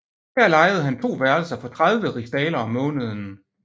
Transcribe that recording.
Her lejede han to værelser for 30 rigsdaler om måneden